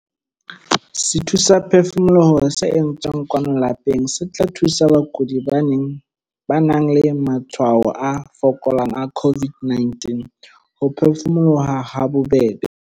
SETHUSAPHEFUMOLOHO se entsweng kwano lapeng se tla thusa bakudi ba nang le matshwao a fokolang a COVID-19 ho phefumoloha habobebe.